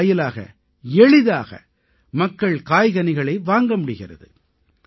இதன் வாயிலாக எளிதாக மக்கள் காய்கனிகளை வாங்க முடிகிறது